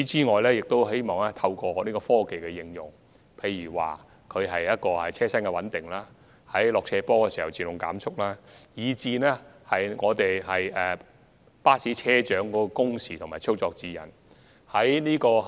我們亦希望透過科技應用，例如車身穩定器及下坡自動減速裝置，以及在巴士車長的工時和操作指引等方面作出改善。